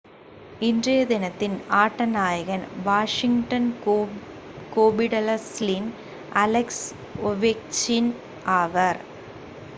இன்றைய தினத்தின் ஆட்ட நாயகன் வாஷிங்டன் கேபிடல்ஸின் அலெக்ஸ் ஓவெச்கின் ஆவார்